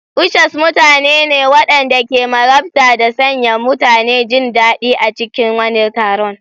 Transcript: Ushers mutane ne waɗanda ke marabta da sanya mutane jin daɗi a cikin wani taron.